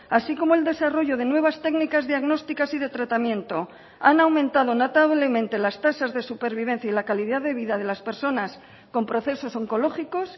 así como el desarrollo de nuevas técnicas diagnósticas y de tratamiento han aumentado notablemente las tasas de supervivencia y la calidad de vida de las personas con procesos oncológicos